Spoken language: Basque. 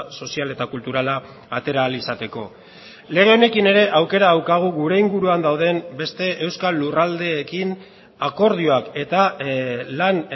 sozial eta kulturala atera ahal izateko lege honekin ere aukera daukagu gure inguruan dauden beste euskal lurraldeekin akordioak eta lan